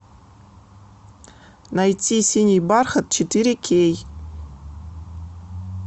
найти синий бархат четыре кей